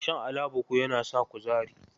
Shan alabuku yana sa kuzari.